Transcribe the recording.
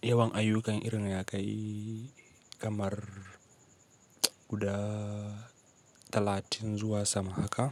yawan ayyukan irin ya kai kamar guda talatin zuwa sama haka.